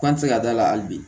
K'an tɛ se ka da la hali bi